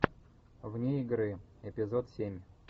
вне игры эпизод семь